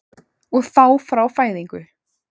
Og þá frá fæðingu?